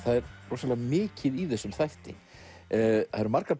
rosalega mikið í þessum þætti það eru margar